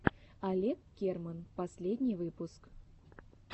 олег керман последний выпуск